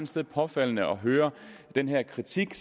sted påfaldende at høre den her kritik